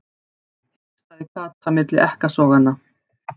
hikstaði Kata milli ekkasoganna.